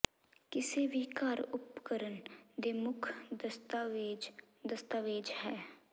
ਕਿਸੇ ਵੀ ਘਰ ਉਪਕਰਣ ਦੇ ਮੁੱਖ ਦਸਤਾਵੇਜ਼ ਦਸਤਾਵੇਜ਼ ਹੈ